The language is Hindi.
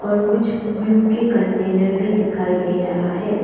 और कुछ ग्लू के कंटेनर भी दिखाई दे रहा है।